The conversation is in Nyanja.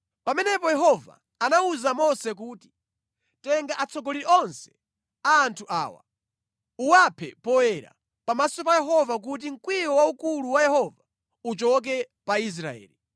Pamenepo Yehova anawuza Mose kuti, “Tenga atsogoleri onse a anthu awa, uwaphe poyera, pamaso pa Yehova kuti mkwiyo waukulu wa Yehova uchoke pa Israeli.”